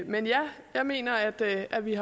men ja jeg mener at at vi